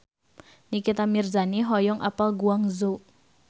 Nikita Mirzani hoyong apal Guangzhou